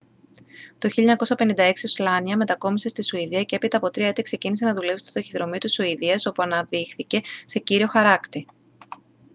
το 1956 ο σλάνια μετακόμισε στη σουηδία και έπειτα από 3 έτη ξεκίνησε να δουλεύει στο ταχυδρομείο της σουηδίας όπου αναδείχθηκε σε κύριο χαράκτη